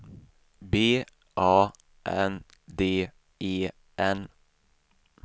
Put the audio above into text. B A N D E N